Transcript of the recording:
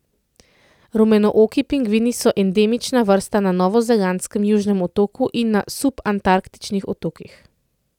Rumenooki pingvini so endemična vrsta na novozelandskem Južnem otoku in na subantarktičnih otokih.